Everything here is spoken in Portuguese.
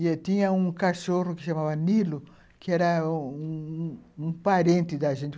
E tinha um cachorro que se chamava Nilo, que era um um parente da gente.